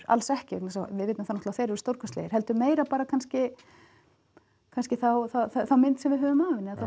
alls ekki vegna þess að við vitum að þeir eru stórkostlegir heldur meira bara kannski kannski þá mynd sem við höfum af henni eða þá